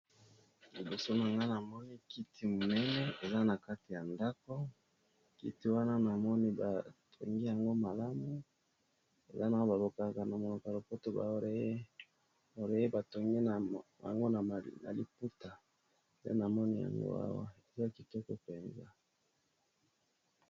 Liboso na nga na moni kiti monene eza na kati ya ndako kiti wana na moni batongi yango malamu eza na balokaka na monoka lopoto ba aureye batongi yango na liputa te na moni yango awa eza kitoko mpenza.